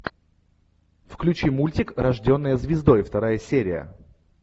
включи мультик рожденная звездой вторая серия